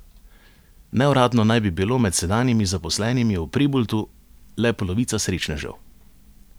Neuradno naj bi bilo med sedanjimi zaposlenimi v Preboldu le polovica srečnežev.